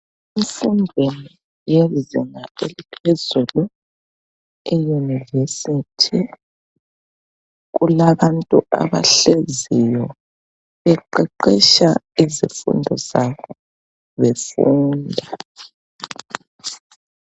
Emfundweni yezinga eliphezulu eyunivesithi kulabantu abahleziyo beqeqetsha isifundo sabo befunda